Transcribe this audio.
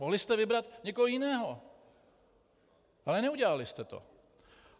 Mohli jste vybrat někoho jiného, ale neudělali jste to.